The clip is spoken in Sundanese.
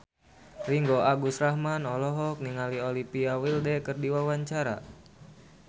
Ringgo Agus Rahman olohok ningali Olivia Wilde keur diwawancara